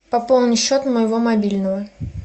пополни счет моего мобильного